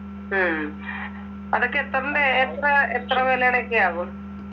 ഉം അതൊക്കെ എത്രിന്റെ, എത്ര, എത്ര വിലയുടെ ഒക്കെ ആവും?